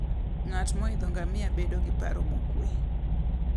Ng'at moidho ngamia bedo gi paro mokwe.